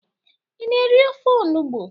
Ị na-eri ofe onụgbụ?